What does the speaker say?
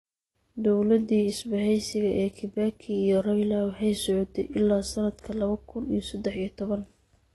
Dawladdii isbahaysiga ee Kibaki iyo Raila waxay socotay ilaa sanadka laba kun iyo saddex iyo toban.